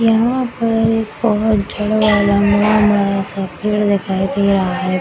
यहाँ पर एक बहुत जड़ वाला बड़ा-बड़ा सा पेड़ दिखाई दे रहा है।